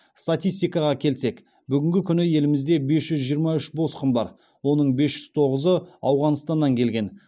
статистикаға келсек бүгінгі күні елімізде бес жүз жиырма үш босқын бар оның бес жүз тоғызы ауғанстаннан келген